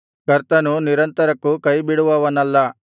ಕರ್ತನು ನಿರಂತರಕ್ಕೂ ಕೈ ಬಿಡುವವನಲ್ಲ